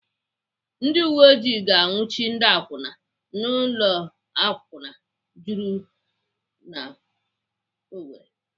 Ndị uwe oji ga-anwuchi ndị akwụna n'ụlọ akwụna juru n'Owerri.